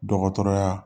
Dɔgɔtɔrɔya